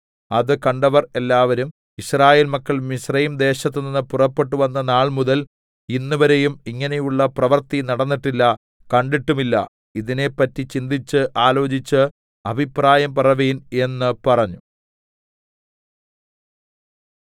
അത് കണ്ടവർ എല്ലാവരും യിസ്രായേൽ മക്കൾ മിസ്രയീംദേശത്ത് നിന്ന് പുറപ്പെട്ടുവന്ന നാൾമുതൽ ഇന്ന് വരെയും ഇങ്ങനെയുള്ള പ്രവൃത്തി നടന്നിട്ടില്ല കണ്ടിട്ടുമില്ല ഇതിനെപ്പറ്റി ചിന്തിച്ച് ആലോചിച്ച് അഭിപ്രായം പറവിൻ എന്ന് പറഞ്ഞു